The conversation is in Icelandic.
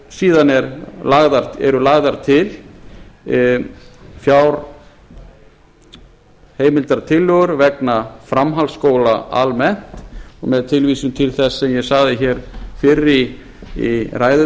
síðan eru lagðar til fjárheimildartillögur vegna framhaldsskóla almennt og með tilvísun til þess sem ég sagði hér fyrr í ræðu